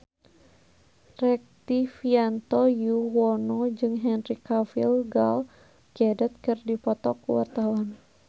Rektivianto Yoewono jeung Henry Cavill Gal Gadot keur dipoto ku wartawan